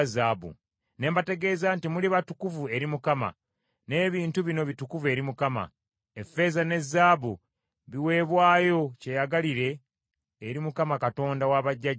Ne mbategeeza nti, “Muli batukuvu eri Mukama , n’ebintu bino bitukuvu eri Mukama . Effeeza ne zaabu biweebwayo kyeyagalire eri Mukama Katonda wa bajjajjammwe.